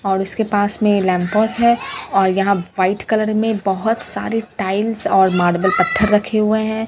और उसके पास में लमपोस है और यहाँ व्हाइट कलर में बहुत सारे टाइल्स और मार्वल पत्थर रखे हुए हैं।